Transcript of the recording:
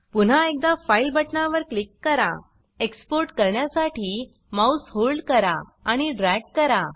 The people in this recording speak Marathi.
पुन्हा एकदा फाइल बटनावर क्लिक करा एक्सपोर्ट काण्यासाठी माउस होल्ड करा आणि ड्रॅग करा